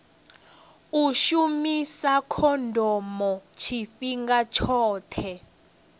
u shumisa khondomo tshifhinga tshoṱhe